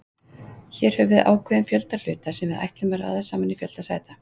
Hér höfum við ákveðinn fjölda hluta, sem við ætlum að raða í sama fjölda sæta.